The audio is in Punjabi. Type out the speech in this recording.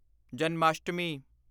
ਜਨਮਾਸ਼ਟਮੀ